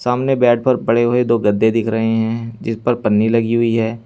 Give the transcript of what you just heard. सामने बेड पर पड़े हुए दो गद्दे दिख रहे हैं जिस पर पन्नी लगी हुई है।